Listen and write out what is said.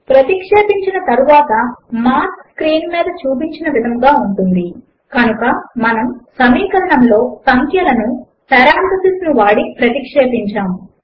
ప్రతిక్షేపించిన తరువాత mark screen మీద చూపిన విధముగా ఉంటుంది కనుక మనము సమీకరణములో సంఖ్యలను పెరాంథసిస్ ను వాడి ప్రతిక్షేపించాము